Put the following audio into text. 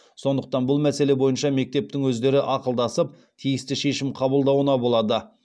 сондықтан бұл мәселе бойынша мектептің өздері ақылдасып тиісті шешім қабылдауына болады